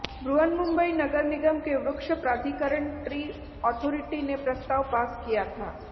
बृहनमुंबई नगर निगम के वृक्ष प्राधिकरण ट्री अथॉरिटी ने प्रस्ताव पास किया था